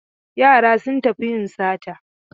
Yara sun tafi yin sata.